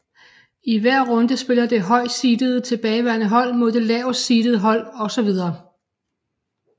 I hver runde spiller det højst seedede tilbageværende hold mod det laveste seedede hold osv